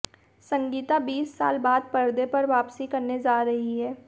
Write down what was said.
संगीता बीस साल बाद पर्दे पर वापसी करने जा रही हैं